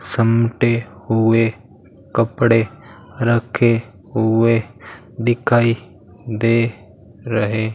समटे हुए कपड़े रखे हुए दिखाई दे रहे --